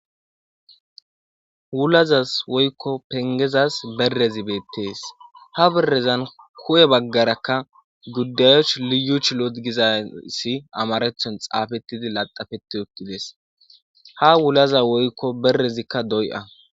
Wulazas woykko pengezas berrezi beettees ha birrezan ku7e baggarakka guddayuch liyu ch loot gizassi amarethon xaafettidi laxafeti okkides ha wulaza woykko berrezikka doy7a